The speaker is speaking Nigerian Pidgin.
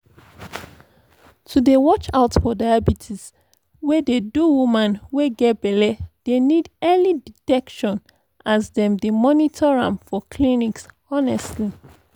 to dey watch out for diabetes wey dey do woman wey get belle dey need early detection as dem dey monitor am for clinics honestly